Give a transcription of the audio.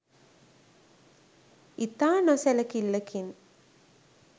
ඉතා නොසැලිකිල්ලකින්